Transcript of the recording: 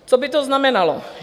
Co by to znamenalo?